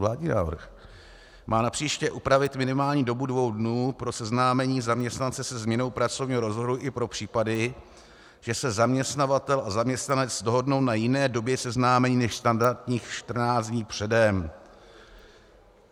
Vládní návrh má napříště upravit minimální dobu dvou dnů pro seznámení zaměstnance se změnou pracovního rozvrhu i pro případy, že se zaměstnavatel a zaměstnanec dohodnou na jiné době seznámení než standardních 14 dní předem...